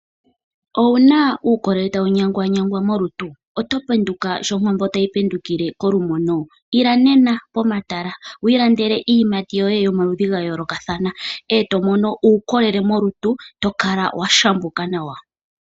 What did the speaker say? Owuna uukolele tawu nyangwanyangwa molutu? Oto penduka shonkondo tayi pendukile kolumono? Ila nena pomatala wu ilandele iiyimati yoye yomaludhi gayoolokathana e tomono uukolele molutu tokala washambuka nawa.